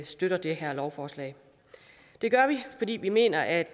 støtter det her lovforslag det gør vi fordi vi mener at